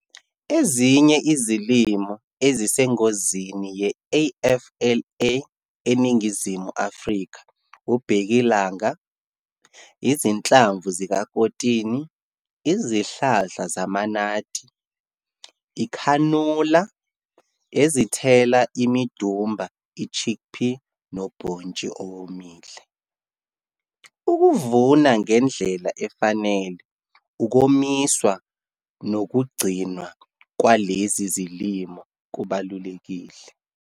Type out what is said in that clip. Ezinye izilimo ezisengozini ye-AFLA eNingizimu Afrika ubhekilanga, izinhlamvu zikakotini, izihlahla zamanathi, ikhanola, ezithela imidumba, i-chickpea nobhontshi owomile. Ukuvuna ngendlela efanele, ukomiswa nokugcinwa kwalezi zilimo kubalulekile.